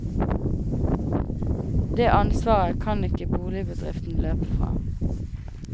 Det ansvaret kan ikke boligbedriften løpe fra.